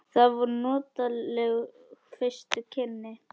Það voru notaleg fyrstu kynni.